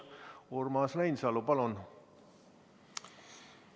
Urmas Reinsalu, palun!